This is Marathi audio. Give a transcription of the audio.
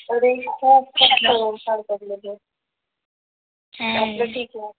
अरे ओसाड पडलेले हम्म ठीक आहे.